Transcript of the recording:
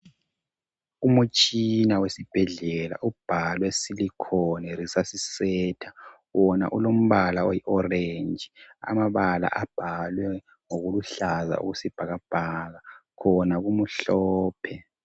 Umutshina wesibhedlela ubhalwe silicon resuscisator wona ulombala oyi orange amabala abhaliwe ngokuluhlaza okwesibhakabhaka khona kumhlophe.